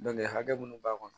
Dɔnkili hakɛ minnu b'a kɔnɔ